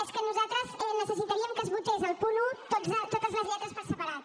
és que nosaltres necessitaríem que es votés el punt un totes les lletres per separat